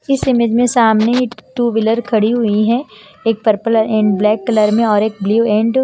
इस इमेज में सामने टू व्हीलर खड़ी हुई हैं एक पर्पल एंड ब्लैक कलर में और एक ब्लू एंड --